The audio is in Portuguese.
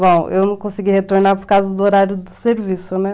Bom, eu não consegui retornar por causa do horário do serviço, né?